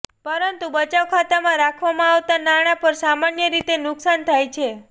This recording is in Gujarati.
પરંતુ બચત ખાતામાં રાખવામાં આવતા નાણાં પર સામાન્ય રીતે નુકસાન થાય છે